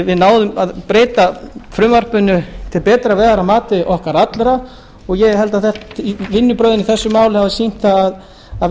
við náðum að breyta frumvarpinu til betri vegar að mati okkar allra og ég held að vinnubrögðin í þessu máli hafi sýnt það að